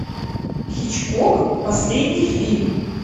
хичкок последний фильм